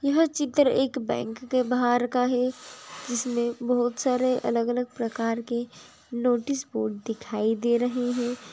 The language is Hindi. यह चित्र एक बैंक के बाहर का है जिसमें बहोत सारे अलग अलग प्रकार के नोटिस बोर्ड दिखाई दे रहे हैं